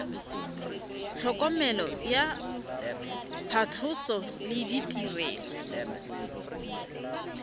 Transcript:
tlhokomelo ya phatlhoso le ditirelo